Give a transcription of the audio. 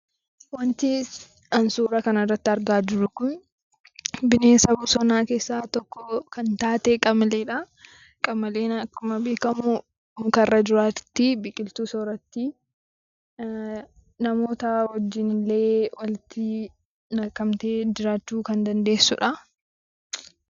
Wanti ani suura kanarratti argaa jiru kun bineensa bosonaa keessaa tokko kan taate 'Qamalee'dha. Qamaleen akkuma beekamu mukarra jiraatti, biqiltuu soorratti, namoota wajjinillee walitti makamtee jiraachuu kan dandeessudha.